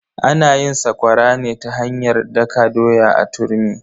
Ana yin sakwara ne ta hanyar daka doya a turmi.